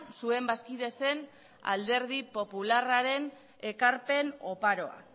zuen bazkide zen alderdi popularraren ekarpen oparoa